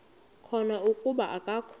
khona kuba akakho